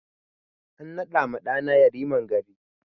A naɗa ma ɗa na Yariman gari